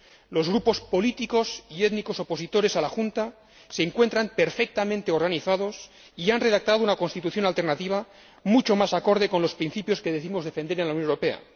Los grupos políticos y étnicos opositores a la Junta se encuentran perfectamente organizados y han redactado una constitución alternativa mucho más acorde con los principios que decimos defender en la Unión Europea.